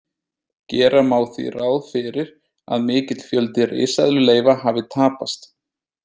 Gera má því ráð fyrir að mikill fjöldi risaeðluleifa hafi tapast.